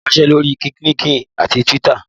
O lè wásẹ́ lórí LinkedIn àti Twitter